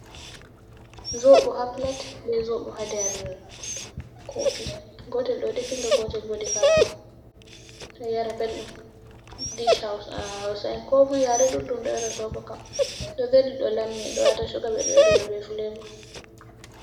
Zobo ha plat be zobo ha nder kofi gotel ɗo definga gotel bo defa ka ɗo yara beldum dish hous hausa’en ko moi yare ɗuɗɗum ɗo yara soɓo kam ɗo veli ɗo lammi do wata cuga ɓeɗo yorira be fulevo.